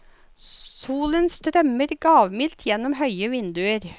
Solen strømmer gavmildt gjennom høye vinduer.